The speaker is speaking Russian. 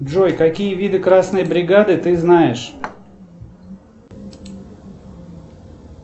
джой какие виды красной бригады ты знаешь